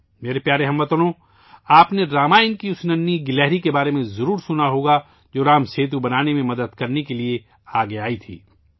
میرے پیارے ہم وطنو، آپ نے رامائن کی چھوٹی سی گلہری کے بارے میں ضرور سنا ہوگا، جو رام سیتو بنانے میں مدد کے لیے آگے آئی تھی